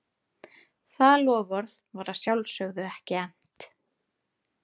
Það loforð var að sjálfsögðu ekki efnt.